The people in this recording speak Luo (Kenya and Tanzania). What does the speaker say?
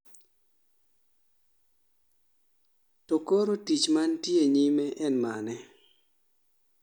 to koro tich mantie nyime en mane